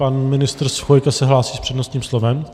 Pan ministr Chvojka se hlásí s přednostním slovem.